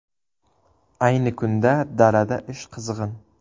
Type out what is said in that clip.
Ayni kunda dalada ish qizg‘in.